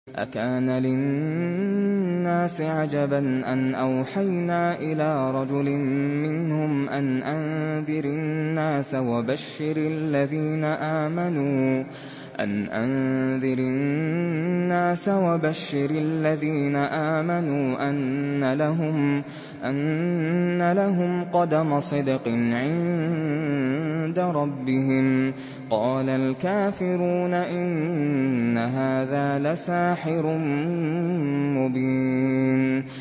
أَكَانَ لِلنَّاسِ عَجَبًا أَنْ أَوْحَيْنَا إِلَىٰ رَجُلٍ مِّنْهُمْ أَنْ أَنذِرِ النَّاسَ وَبَشِّرِ الَّذِينَ آمَنُوا أَنَّ لَهُمْ قَدَمَ صِدْقٍ عِندَ رَبِّهِمْ ۗ قَالَ الْكَافِرُونَ إِنَّ هَٰذَا لَسَاحِرٌ مُّبِينٌ